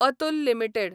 Atul limited